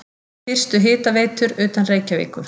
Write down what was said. Fyrstu hitaveitur utan Reykjavíkur